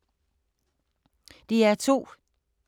DR2